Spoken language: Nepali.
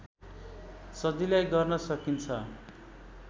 सजिलै गर्न सकिन्छ